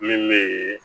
Min bee